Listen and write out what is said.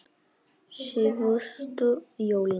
Síðustu jólin.